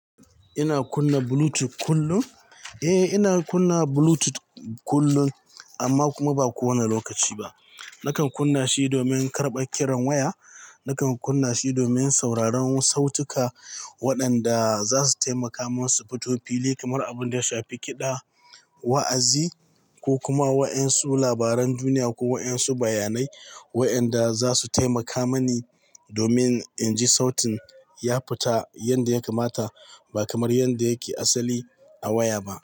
Ina kunna Bluetooth kullum? Eh, ina kunna Bluetooth kullum amma kuma ba kowane lokaci ba. Nakan kunna shi domin karɓa kiran waya. Nakan kunna shi domin sauraron sautuka waɗanda za su taimaka min su fito fili, kamar abun da ya shafi kiɗa, wa'azi ko kuma waɗansu labaran duniya ko waɗansu bayanai waɗanda za su taimaka mani domin in ji sautin ya fita yadda ya kamata ba kamar yadda yake asali a waya ba.